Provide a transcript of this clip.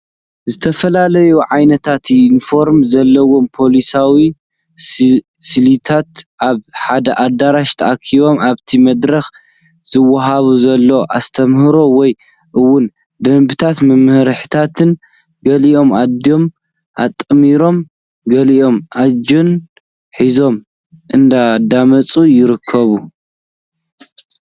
ዝተፈላለዩ ዓይነት ዩኒፎርም ዘለዎም ፖላዊስን ስቪላትን ኣብ ሓደ ኣዳራሽ ተኣኪቦም ኣብቲ መድረክ ዝውሃብ ዘሎ ኣስተምህሮ ወይ እውን ደንብታትን መምርሒታትን ገሊኦም ኢዶም ኣጣሚሮም ገሊኦም ኣጀንዳ ሒዞም እንዳዳመፁ ይርከቡ፡፡